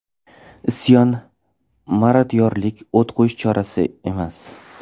Isyon, marodyorlik, o‘t qo‘yish chora emas.